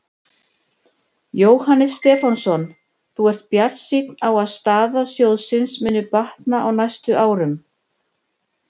Jóhannes Stefánsson: Þú ert bjartsýnn á að staða sjóðsins muni batna á næstu árum?